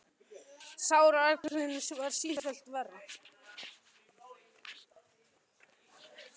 Sárið á öxlinni varð sífellt verra.